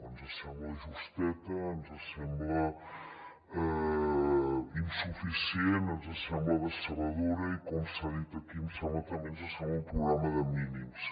ens sembla justeta ens sembla insuficient ens sembla decebedora i com s’ha dit aquí ens sembla també un programa de mínims